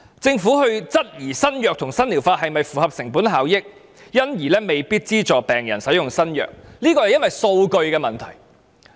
政府質疑新藥物及新療法是否符合成本效益，因而未必資助病人使用新藥物，這個往往是基於數據的問題。